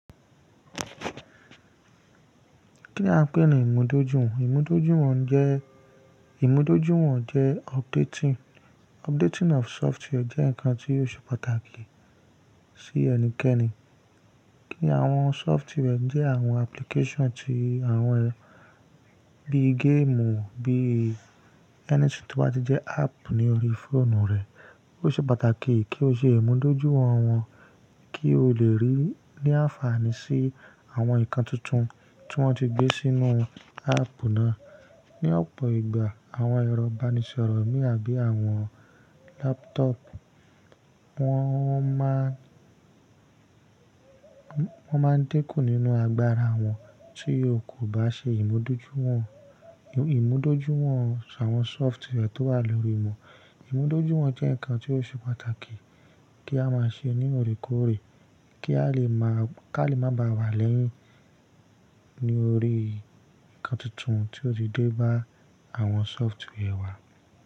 Kí a ń pè ní ìmúdójúwon. Ìmúdójúwon jẹ́, ìmúdójúwon jẹ updating. Updating of software jẹ́ nǹkan tí ó ṣe pàtàkì sí ẹnikẹ́ni. Kí àwọn software jẹ́ àwọn application tí àwọn ẹ́, bí game o, bí ẹni tí ó bá ti jẹ́ app ní orí fóònù rẹ̀. Ó ṣe pàtàkì kí o ṣe ìmúdójúwon wọ́n, kí o lè rí ní àǹfààní sí àwọn nǹkan tuntun tí wọ́n ti gbé sínú apuu náà. Ni ọ̀pọ̀ ìgbà àwọn ẹ̀rọ ìbánisọ̀rọ̀ mì àbí àwọn laptop, wọ́n máa ń, wọ́n máa ń dínkù nínú agbára wọn tí o kò bá ṣe ìmúdójúwon, ìmúdójúwon àwọn software tó wà lórí wọn. Ìmúdójúwon jẹ́ nǹkan tí ó ṣe pàtàkì kí a máa ṣe ní òrékọ́ọ̀rẹ́, kí a lè máa, kí a lè má ba à wà lẹ́yìn torí nǹkan tuntun tí ó ti dé bá àwọn software wa.